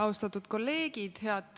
Austatud kolleegid!